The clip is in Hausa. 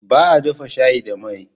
Baa dafa shayi da mai